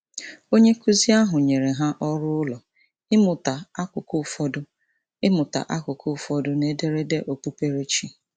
Onyenkụzi ahụ nyere ha ọrụụlọ ịmụta akụkụ ụfọdụ ịmụta akụkụ ụfọdụ n'ederede okpukperechi.